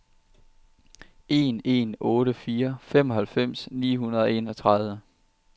en en otte fire femoghalvfems ni hundrede og enogtredive